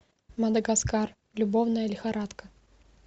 мадагаскар любовная лихорадка